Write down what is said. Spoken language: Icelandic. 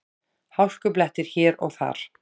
Hálkublettir hér og þar